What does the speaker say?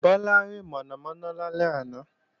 Bọ́lá rí mọ̀nàmọ̀nà lálẹ́ àná